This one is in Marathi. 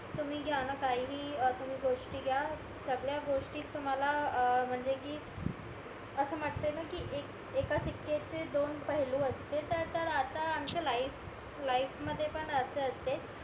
तुम्ही घ्याना काही तुम्ही गोष्टी घ्या सगळ्या गोष्टीत तुम्हाला अं म्हणजे कि असं म्हटले ना एक एका चे दोन पाहिलु असते तर आता आमच्या लाईफ मध्ये पण असं असते